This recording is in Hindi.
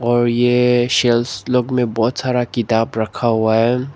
और ये सेल्स लोग में बहुत सारा किताब रखा हुआ है।